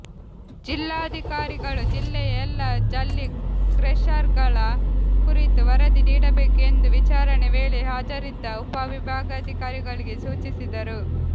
ಜಿಲ್ಲಾಧಿಕಾರಿಗಳು ಜಿಲ್ಲೆಯ ಎಲ್ಲಾ ಜಲ್ಲಿ ಕ್ರೆಷರ್ಗಳ ಕುರಿತು ವರದಿ ನೀಡಬೇಕು ಎಂದು ವಿಚಾರಣೆ ವೇಳೆ ಹಾಜರಿದ್ದ ಉಪವಿಭಾಗಾಧಿಕಾರಿಗಳಿಗೆ ಸೂಚಿಸಿದರು